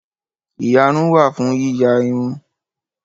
Ìyarun wà fún yíya irun